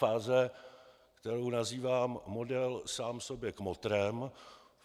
Fáze, kterou nazývám model "sám sobě kmotrem".